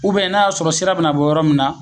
U bɛn n'a y'a sɔrɔ sira bɛna bɔ yɔrɔ min na